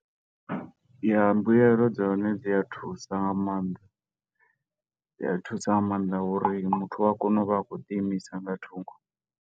Ya, mbuelo dza hone dzi a thusa nga maanḓa, dzi a thusa nga maanḓa ngo uri muthu u a kona u vha a khou ḓi imisa nga thungo.